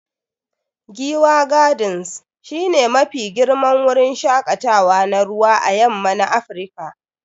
Giwa gardens shi ne Mafi girman wurin shakatawa na ruwa à yamma na Afirka.